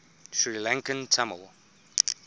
sri lankan tamil